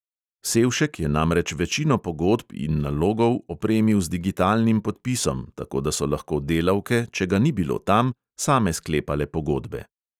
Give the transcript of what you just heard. Sevšek je namreč večino pogodb in nalogov opremil z digitalnim podpisom, tako da so lahko delavke, če ga ni bilo tam, same sklepale pogodbe.